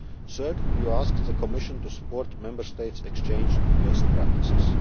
Third, you asked the Commission to support Member States' exchange of best practices.